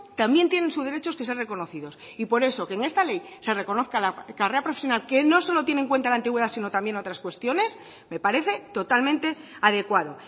también tienen sus derechos que sean reconocidos y por eso que en esta ley se reconozca la carrera profesional que no solo tiene en cuenta la antigüedad sino también otras cuestiones me parece totalmente adecuado